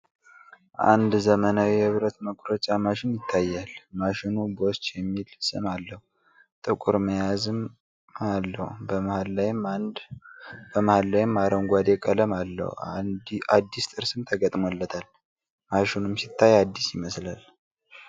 አንድ ዘመናዊ የብረት መቁረጫ ማሽን ይታያል። ማሸኑ bosch የሚል ስም አለው። ጥቁር መያዝም አለው። በመሐል ላይም አረንጓዴ ቀለም አለው። አዲስ ጥርስም ተገጥሞለታል። ማሽኑም ሲታይ አዲስ ይመስላል።